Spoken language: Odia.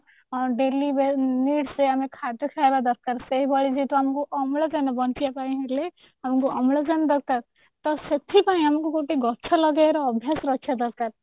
daily needs ରେ ଆମେ ଖାଦ୍ୟ ଖାଇବା ଦରକାର ସେଇଭଳି ଯେହେତୁ ଆମକୁ ଅମ୍ଳଜାନ ବଞ୍ଚିବା ପାଇଁ ହେଲେ ଆମକୁ ଅମ୍ଳଜାନ ଦରକାର ତ ସେଥିପାଇଁ ଆମକୁ ଗୋଟେ ଗଛ ଲଗେଇବାର ଅଭ୍ୟାସ ରଖିବା ଦରକାର